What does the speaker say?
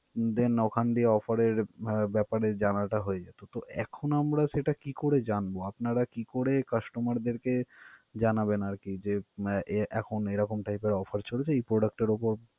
then ওখান দিয়ে offer এর ব্যাপারে জানাটা হয়ে যেতো. তো এখন আমরা সেটা কি করে জানবো? আপনারা কি করে customer দেরকে জানাবেন আর কি যে এর এখন এরকম type এর offer চলছে, এই product টার উপর।